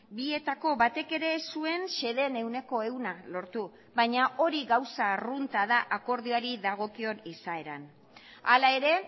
bietako batek ere ez zuen xedeen ehuneko ehuna lortu baina hori gauza arrunta da akordioari dagokion izaeran hala ere